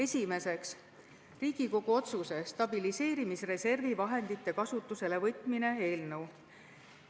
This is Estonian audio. Esiteks, Riigikogu otsuse "Stabiliseerimisreservi vahendite kasutusele võtmine" eelnõu.